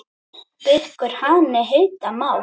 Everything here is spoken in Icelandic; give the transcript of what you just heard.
Gikkur hani heita má.